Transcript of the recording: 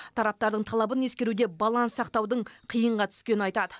тараптардың талабын ескеруде баланс сақтаудың қиынға түскенін айтады